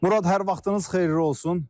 Murad, hər vaxtınız xeyirli olsun.